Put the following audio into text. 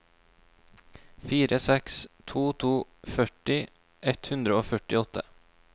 fire seks to to førti ett hundre og førtiåtte